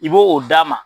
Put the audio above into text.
I b'o o d'a ma